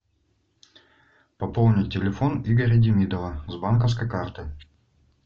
пополнить телефон игоря демидова с банковской карты